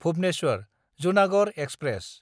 Bhubaneswar-Junagarh express